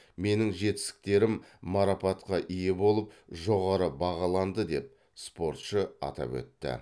менің жетістіктерім марапатқа ие болып жоғары бағаланды деп спортшы атап өтті